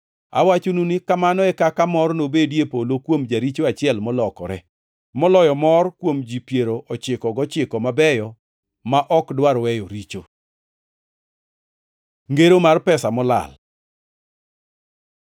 Awachonu ni kamano e kaka mor nobedi e polo kuom jaricho achiel molokore, moloyo mor kuom ji piero ochiko gochiko mabeyo ma ok dwar weyo richo. Ngero mar pesa molal